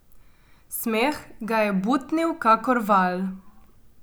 Smeh ga je butnil kakor val.